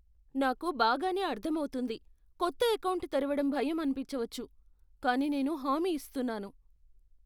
నాకు బాగానే అర్థమవుతుంది. కొత్త ఎకౌంటు తెరవడం భయం అనిపించవచ్చు, కానీ నేను హామీ ఇస్తున్నాను.